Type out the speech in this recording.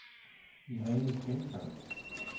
Irene Bengtsson